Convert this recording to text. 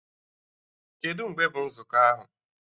Kedụ mgbe bụ nzukọ ahụ?